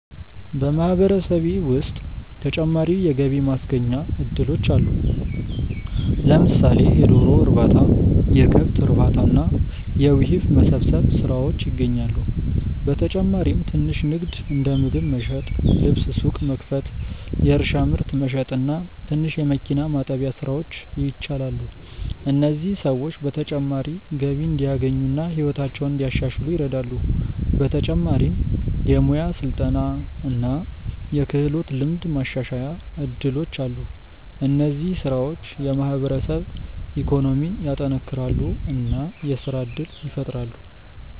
በማህበረሰቤ ውስጥ ተጨማሪ የገቢ ማስገኛ እድሎች አሉ። ለምሳሌ የዶሮ እርባታ፣ የከብት እርባታ እና የውሂብ መሰብሰብ ስራዎች ይገኛሉ። በተጨማሪም ትንሽ ንግድ እንደ ምግብ መሸጥ፣ ልብስ ሱቅ መክፈት፣ የእርሻ ምርት መሸጥ እና ትንሽ የመኪና ማጠቢያ ስራዎች ይቻላሉ። እነዚህ ሰዎች ተጨማሪ ገቢ እንዲያገኙ እና ሕይወታቸውን እንዲያሻሽሉ ይረዳሉ። በተጨማሪም የሙያ ስልጠና እና የክህሎት ልምድ ማሻሻያ እድሎች አሉ። እነዚህ ስራዎች የማህበረሰብ ኢኮኖሚን ያጠናክራሉ እና የስራ እድል ይፈጥራሉ።